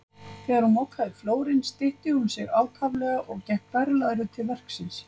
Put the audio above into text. Þegar hún mokaði flórinn stytti hún sig ákaflega og gekk berlæruð til verksins.